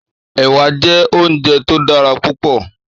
Èwà jè óunjè tó dàrá púpò